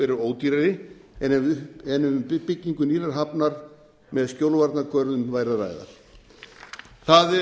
eru ódýrari en ef um byggingu nýrrar hafnar með skjólvarnargörðum væri að ræða það hefur